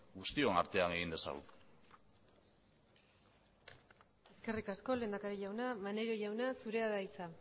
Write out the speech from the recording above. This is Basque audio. guztion artean egin dezagun eskerrik asko lehendakari jauna maneiro jauna zurea da hitza